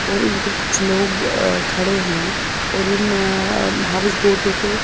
और इन पे कुछ लोग अ खड़े हैं और इन अ हाउस बोटों पे--